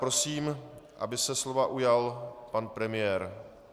Prosím, aby se slova ujal pan premiér.